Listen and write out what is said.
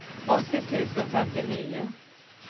åttio tusen femtionio